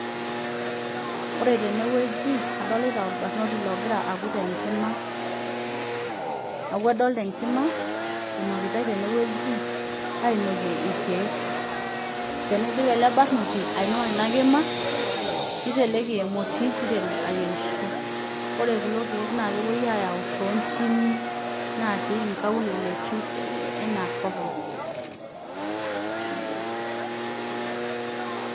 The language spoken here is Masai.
Ore tene ogi adolita olbarnoti ogira akut enkima. Neeku adoolta enkima inokitai tene oji ainokie ilkeek, teneidip ele barnoti ainua ena kima niteleki emoti niteru ayierisho. Ore kulo keek naakepoi ayau too ntimi natii ingaulele ena kop ang'.